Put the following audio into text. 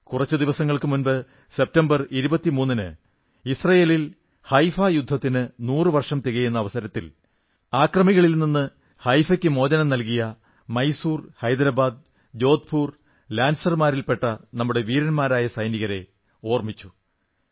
കുറച്ചു ദിവസങ്ങൾക്കു മുമ്പ് സെപ്റ്റംബർ 23 ന് ഇസ്രയേലിൽ ഹൈഫാ യുദ്ധത്തിന് നൂറു വർഷം തികയുന്ന അവസരത്തിൽ അക്രമികളിൽ നിന്ന് ഹൈഫയ്ക്ക് മോചനം നൽകിയ മൈസൂർ ഹൈദരാബാദ് ജോധ്പൂർ ലാൻസർമാരിൽപെട്ട നമ്മുടെ വീരന്മാരായ സൈനികരെ ഓർമ്മിച്ചു